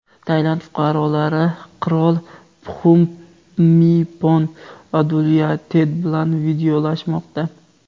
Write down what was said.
Tailand fuqarolari qirol Pxumipon Adulyadet bilan vidolashmoqda.